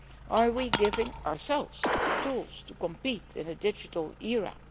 Are we giving ourselves the tools to compete in a digital era?